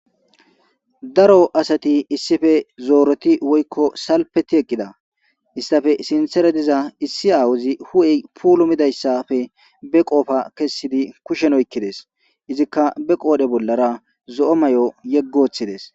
Daro asati issippe zorotti woyikko salifferti eqqidda issotappe sinththera diza issi awayi hu''eyi pulumidayissappe bee qoppe kessidi kushshenni oyikkides.izzikka bee qodhdhe bollara zoo mayo yegi woththides.